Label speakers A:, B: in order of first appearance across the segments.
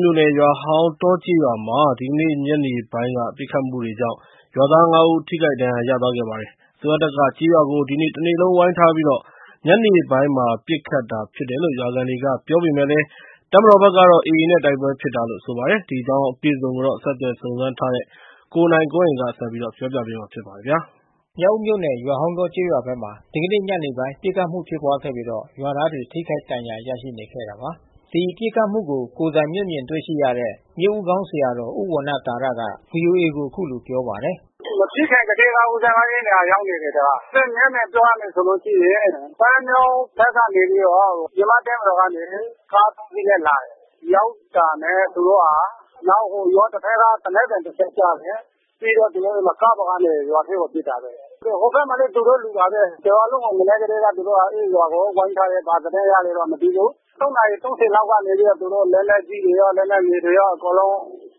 A: မြို့နယ် ရွာဟောင်းတောကျေးရွာမှာ ဒီကနေ့ညနေပိုင်းက ပစ်ခတ်မှုတွေကြောင့် ရွာသား ၅ ဦး ထိခိုက် ဒဏ် ရာရခဲ့ပါတယ်။ အစိုးရတပ်က ကျေးရွာကို ဒီနေ့တနေ့လုံး ဝိုင်းထားပြီး ညနေပိုင်း ပစ်ခတ်တာဖြစ်တယ်လို့ ရွာခံတွေ က ပြောပေမယ့်လည်း ၊ တပ်မတော်ဖက်ကတော့ AA နဲ့ တိုက်ပွဲဖြစ်တာလို့ ဆိုပါတယ်။ ကိုနိုင်ကွန်းအိန် စုံစမ်းမေးမြန်း ထားပါတယ်။ မြောက်ဦးမြို့နယ် ရွာဟောင်းတောကျေးရွာဘက်မှာ ဒီကနေ့ညနေပိုင်း ပစ်ခတ်မှုဖြစ်ပွားခဲ့ပြီး ရွာသားတွေ ထိခိုက် ဒဏ်ရာ ရရှိနေခဲ့တာပါ။ ဒီပစ်ခတ်မှုကို ကိုယ်တိုင်မျက်မြင်တွေ့ရှိရတဲ့ ဆရာတော်ဦးဝဏ္ဏသာရက ဗွီအိုအေကို အခုလိုပြောပါတယ်။ “မဖ
B: ြစ်ခင်ကတည်းက ဦးဇင်းအဲဒီနေရာကိုရောက်နေတယ်။ မျက်မြင်ပြောရလို့ ရှိရင် ပန်းမြောင်းဖက်ကနေပြီးတော့ မြန်မာ့တပ်မတော်ဘက်ကနေ ကား(၃)စီးနဲ့လာတယ်။ ရောက်တာနဲ့သူတို့က ရွာတဖက်ကသေနတ်သံ တချက်ကြား တယ်။ ပြီးသူတို့က ကားပေါ်ကနေ ရွာထဲကို ပစ်တာ။ ဟိုဖက်မှာလဲ သူတို့လူပါဘဲ။ တရွာလုံးကိုသူတို့ မနက်က တည်းက ဝိုင်းထားတယ်။ ဘာသတင်းရလဲ မသိဘူး။ (၃)နာရီ(၃၀)လောက်ကနေ သူတို့လက်နက်ကြီးတွေရော လက်နက် ငယ်တွေရော အကုန်လုံး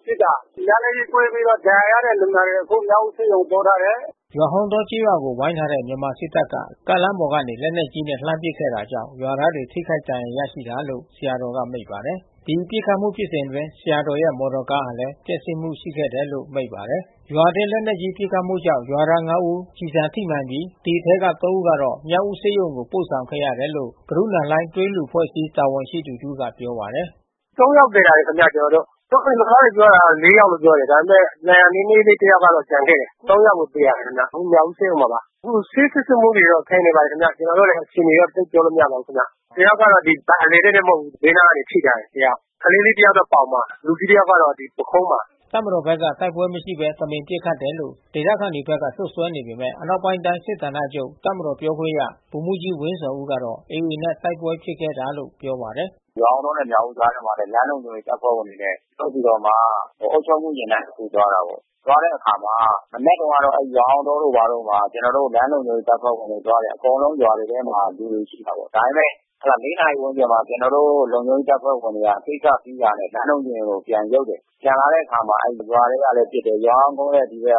B: ပစ်တာ။လက်နက်ကြီးကွဲပြီး ဒဏ်ရာရတဲ့ လူနာတွေ အခုမြောက်ဦးဆေးရုံ ပို့
C: ထားတယ်။
A: ” ရွာဟောင်းတောကျေးရွာကို ဝိုင်းထားတဲ့ မြန်မာစစ်တပ်က ကားလမ်းပေါ်ကနေ လက်နက်ကြီး နဲ့ လှမ်းပစ်ခဲ့တာကြောင့် ရွာသားတွေ ထိခိုက်ဒဏ်ရာရတာလို့ ဆရာတော်ကမိန့်ပါတယ်။ ဒီပစ်ခတ်မှု ဖြစ်စဉ်အတွင်း ဆရာတော်ရဲ့မော်တော်ကားလဲ ပျက်စီးမှုရှိခဲ့တယ်လို့ လဲမိန့်ပါတယ်။ ရွာအတွင်း လက်နက်ကြီးပစ်ခတ်မှုကြောင့် ရွာသား(၅)ဦး ကျည်ဆံထိမှန်ပြီး ဒီအထဲက(၃)ဦးကိုတော့ မြောက်ဦးဆေးရုံ ကို ပို့ဆောင်ခဲ့ရတယ်လို့ ဂရုဏာလှိုင်း သွေးလှူအဖွဲ့အစည်း တာဝန်ရှိသူတဦးက ပြောပါတယ်
C: ။ “(၃)ယောက် သယ်လာတယ်ခင်ဗျကျ
B: ွန်တော်တို့။ ရွာသားတွေပြောတာတော့ (၄)ယောက်လို့ ပြောတယ်။ ဒါပေမဲ့ ဒဏ်ရာ နည်းနည်းလေး တယောက်က ကျန်ခဲ့တယ်။ (၃)ယောက်ကို သယ်လာတယ် အခုမြောက်ဦးဆေးရုံမှာပါ။ ဆေးစစ်ဆေးမှုတော့ ခံယူနေပါတယ်ခင်ဗျ။ ကျွန်တော်တို့လဲ အခြေအနေကို သိပ်ပြောလို့မရပါဘူးခင်ဗျ။ တယောက်ကတော့ ဒီဗိုက်အလယ်တည့်တည့်တော့ မဟုတ်ဘူး။ ဘေးနားကနေ ထိထားတယ်တယောက်။ ကလေးလေး တယောက်က ပေါင်မှာ။ လူကြီး တယောက်က ပုခုံးမှာ။
A: ” တပ်မတော်ဖက်က တိုက်ပွဲမရှိဘဲ တမင်ပစ်ခတ်တယ်လို့ ဒေသခံတွေဖက်က စွပ်စွဲနေပေမဲ့၊ အနောက်ပိုင်းတိုင်း စစ်ဌာန ချုပ်ပြောခွင့်ရ ဗိုလ်မှူးကြီးဝင်းဇော်ဦးကတော့ AAနဲ့တိုက်ပွဲဖြစ်ခဲ့တာ လို့ပြောပါတယ်
C: ။ “ရွာဟောင်းတောနဲ့မြောက်ဦးမြို့ကြားထဲမှာလဲ လမ်းလုံခြုံရေး တပ်ဖွဲ့ဝင်တွေနဲ့ထုတ်ပြီးတော့မှ အုပ်ချုပ်မှုယာဉ်တန်းတခု သွားတယ်ပေါ့။ သွားတဲ့အခါမှာ မနက်တုန်း ကတော့ ရွာဟောင်းတောတို့ ဘာတို့မှာ ကျွန်တော်တို့လမ်းလုံခြုံရေးတပ်ဖွဲ့ဝင်တွေသွားတယ်။ အကုန်လုံးရွာတွေထဲမှာ လူတွေရှိပါတယ်။ ဒါပေမဲ့ (၄)နာရီကျော်မှာ ကျွန်တော်တို့ လုံခြုံရေးတပ်ဖွဲ့ ဝင် တွေက ကိစ္စရှိတာ နဲ့လမ်းလုံခြုံရေးကိုပြန်ရုပ်တယ်။ ပြန်လာတဲ့အခါရွာထဲကလဲပစ်တယ်။ ရွာစောင်းကုန်းနဲ့ဒီ အ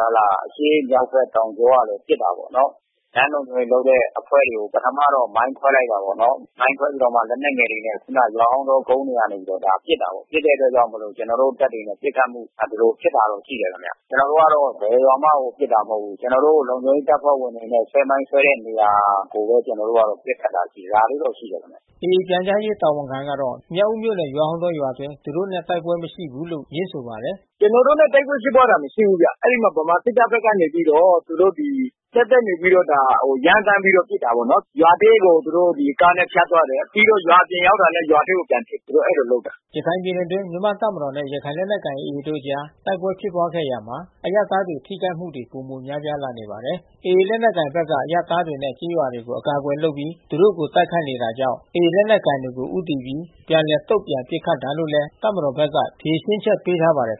C: ရှေ့ မြောက် ဖက်တောင်ကြောကလဲပစ်တာပေါ့နော်။ လမ်းလုံခြုံရေးအဖွဲ့တွေကို ပထမတော့ မိုင်းခွဲလိုက်တယ်ပေါ့နော်။ မိုင်းခွဲပြီးတော့မှ လက်နက်ငယ်တွေနဲ့ ခုနရွာဟောင်းတောကုန်း ကနေ ပစ်တာပေါ့။ ပစ်တဲ့အတွက်ကြောင့်မို့လို့ ကျွန်တော်တို့တပ်တွေနဲ့ပစ်ခတ်မှု ဖြစ်တာရှိတယ်ခင်ဗျ။ ကျွန်တော်တို့ ဘယ်ရွာမှ ပစ်တာမဟုတ်ဘူး။ ကျွန်တော်တို့ လုံခြုံရေး တပ်ဖွဲ့ဝင်တွေနဲ့ ဆွဲမိုင်းဆွဲတဲ့နေရာကိုဘဲ ကျွန်တော်တို့က ပစ်ခတ်တာ။ ဒါ
A: လေးတော့ရှိတယ်ခင်ဗျ။ ” AA ပြန်ကြားရေးတာဝန်ခံခိုင်သုခကတော့ မြောက်ဦးမြို့နယ် ရွာဟောင်းတောရွာအတွင်း သူတို့ တိုက်ပွဲမရှိဘူးလို့ ငြင်းဆိုပါတယ်။
C: “ကျွန်တော်တို့နဲ့တိုက်ပွဲဖြစ်ပွားတာမရှိဘူးခင်ဗျ။ ဗမာစစ်တပ်ကနေပြီးတော့ သူတို့ဒါ ရမ်းသန်း ပြီးတော့ ပစ်တာပေါ့နော်။ ရွာထဲကိုသူတို့ကားနဲ့ဖြတ်သွားတယ်။ ပြီးတော့ ရွာအပြင်ရောက်တာနဲ့ ရွာထဲ ပြန်ပစ်တယ်။ သူတို့အဲဒီလိုလုပ်တာ
A: ။” ရခိုင်ပြည်နယ်အတွင်းမြန်မာ့တပ်မတော်နဲ့ ရခိုင်လက်နက်ကိုင်AAတို့အကြားတိုက်ပွဲဖြစ်ပွားရာမှာ အရပ်သားထိခိုက်မှု တွေ ပိုများလာနေပါတယ်။ AA လက်နက်ကိုင်တွေဘက်က အရပ်သားတွေနဲ့ ကျေးရွာတွေကို အကာအကွယ်လုပ်ပြီး သူတို့ကို တိုက်ခိုက်နေတာကြောင့်၊ AA လက်နက်ကိုင်တွေကို ဦးတည်ပြီး ပြန်လည်တုံ့ပြန်ပစ်ခတ်တာလို့ တပ်မတော်ဘက်က
C: ဖြေရှင်းချက်ပေးပါတယ်